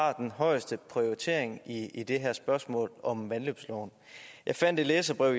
har den højeste prioritering i i det her spørgsmål om vandløbsloven jeg fandt et læserbrev